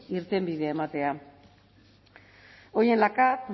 irtenbidea ematea hoy en la cav